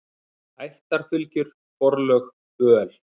Ættarfylgjur, forlög, böl.